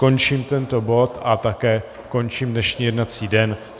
Končím tento bod a také končím dnešní jednací den.